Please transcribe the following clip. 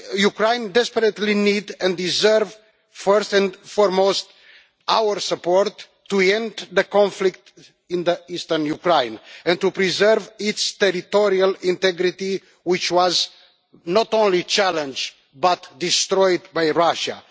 Ukraine desperately needs and deserves, first and foremost, our support to end the conflict in eastern Ukraine and to preserve its territorial integrity, which was not only challenged but destroyed by Russia.